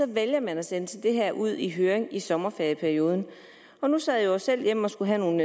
vælger man at sende det her ud i høring i sommerferieperioden nu sad jeg selv hjemme og havde nogle